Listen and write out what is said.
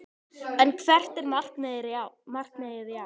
En hvert er markmiðið í ár?